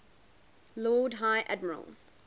lord high admiral